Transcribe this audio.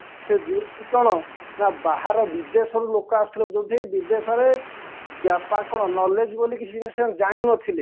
ସେ ଯୋଉଠି କ'ଣ ନା ବାହାର ବିଦେଶରୁ ଲୋକ ଆସୁଥିଲେ ଯୋଉଠି ବିଦେଶରେ knowledge ବୋଲି କିଛି ଜାଣିନଥିଲେ